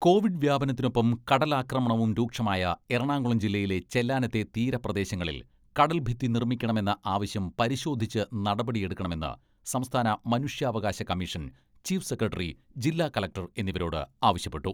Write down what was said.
Covid വ്യാപത്തിനൊപ്പം കടലാക്രമണവും രൂക്ഷമായ എറണാകുളം ജില്ലയിലെ ചെല്ലാനത്തെ തീരപ്രദേശങ്ങളിൽ കടൽഭിത്തി നിർമ്മിക്കണമെന്ന ആവശ്യം പരിശോധിച്ച് നടപടിയെടുക്കണമെന്ന് സംസ്ഥാന മനുഷ്യാവകാശ കമ്മീഷൻ ചീഫ് സെക്രട്ടറി, ജില്ലാ കലക്ടർ എന്നിവരോട് ആവശ്യപ്പെട്ടു.